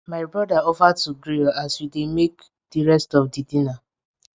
my broda offer to grill as we dey make di rest of di dinner